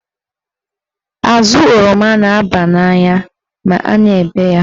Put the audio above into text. Azụ oroma n'aba n'anya ma a na-ebe ya.